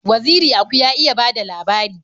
Waziri Aku ya iya bada labari